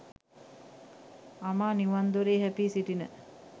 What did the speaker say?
අමා නිවන් දොරේ හැපී සිටින